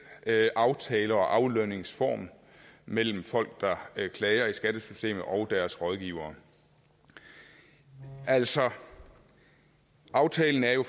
aftale og aflønningsform mellem folk der klager i skattesystemet og deres rådgivere altså aftalen er jo